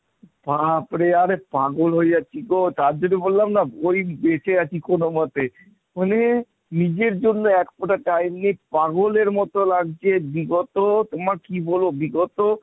বাপরে আরে পাগল হয়ে যাচ্ছি গো তার জন্য বললাম না ওই বেঁচে আছি কোনমতে, মানে নিজের জন্য একফোঁটা time নেই, পাগলের মতো লাগছে বিগত তোমারে কি বলবো বিগত